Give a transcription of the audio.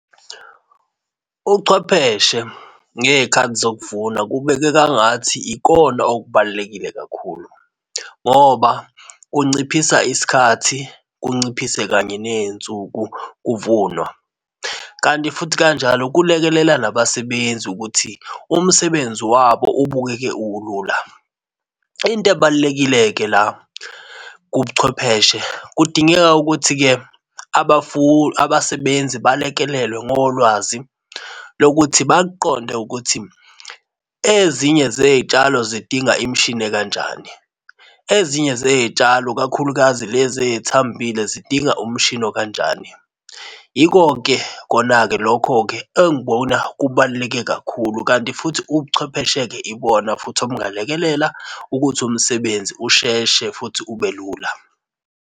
Uchwepheshe ngezikhathi zokuvuna kubekeka ngathi ikona okubalulekile kakhulu ngoba kunciphisa isikhathi, kunciphise kanye nezinsuku kuvunwa. Kanti futhi kanjalo kulekelela nabasebenzi ukuthi umsebenzi wabo ubukeke ulula into ebalulekile-ke la kubuchwepheshe kudingeka ukuthi-ke abasebenzi balekelelwe ngolwazi lokuthi bakuqonde ukuthi ezinye zezitshalo zidinga imishini ekanjani. Ezinye zezitshalo kakhulukazi lezi ezithambile zidinga umshini okanjani. Yiko-ke kona-ke lokho-ke engibona kubaluleke kakhulu. Kanti futhi ubuchwepheshe-ke ibona futhi obungalekelela ukuthi umsebenzi usheshe futhi ube lula.